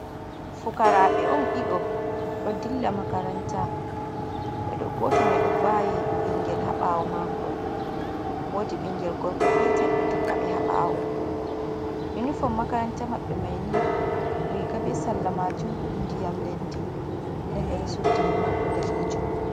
Fukarabe on dido do dilla makaranta, be do goto mai do vawi bingel ha bawo maako wodi bingel gorko petel do tokka ɓe habawo ,inufon makaranta mabbe mai ni riga be salla majum ndiyam leddi der mbede suddihi mar bodanejum.